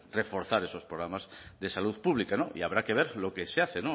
reforzar esos programas de salud pública y habrá que ver lo que se hace